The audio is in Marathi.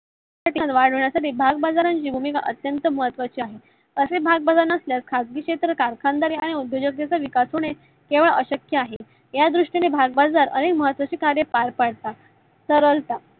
वाढवण्यासाठी भागाबाजाराची भुमिका अत्यंत महत्वाची आहे. असे भागबजार नसल्यास खाजगी शेत्रकर, कारखानदार आणि उद्योजक कर यांचा विकास होणे केवळ अशक्य आहे. या द्रुष्टीने भागबाजरा अधिक महत्वाचे कार्य पार पडतात. सरलता